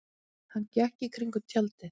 Hann gekk í kringum tjaldið.